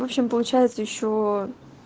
в общем получается ещё